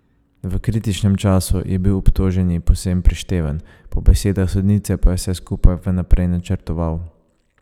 V kritičnem času je bil obtoženi povsem prišteven, po besedah sodnice pa je vse skupaj vnaprej načrtoval.